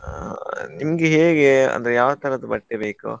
ಆ, ನಿಮ್ಗೆ ಹೇಗೆ ಅಂದ್ರೆ ಯಾವ್ತರದ್ ಬಟ್ಟೆ ಬೇಕು?